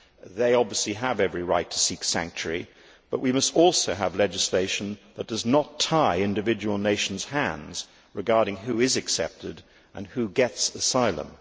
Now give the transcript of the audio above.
They obviously have every right to seek sanctuary, but we must also have legislation that does not tie individual nations' hands regarding who is accepted and who gets asylum.